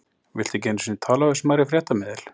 Viltu ekki einu sinni tala við smærri fréttamiðil?